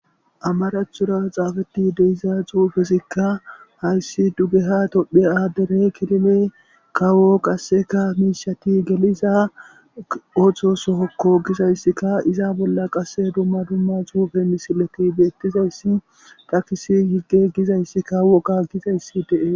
Amarathora xaafati de'iza xuufesikka hayssi duge tophphe aaddare kifile kawo qasseka miishati geliza oso sohokko giza issika iza bolla qasse dumma dumma xuufe misileti beettiza issi takisi higge giza issikka woga giza issi dees.